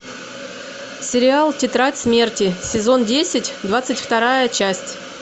сериал тетрадь смерти сезон десять двадцать вторая часть